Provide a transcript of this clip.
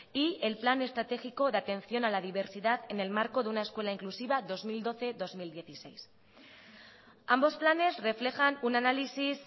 y el plan estratégico de atención a la diversidad en el marco de una escuela inclusiva dos mil doce dos mil dieciséis ambos planes reflejan un análisis